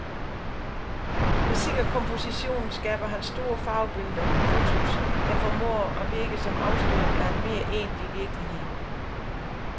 Med sikker komposition skaber han store farvebilleder, fotos, der formår at virke som afsløring af en mere egentlige virkelighed.